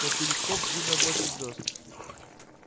но в телескоп видно больше звёзд